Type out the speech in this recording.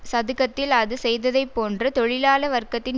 சதுக்கத்தில் அது செய்ததைப்போன்று தொழிலாள வர்க்கத்தின்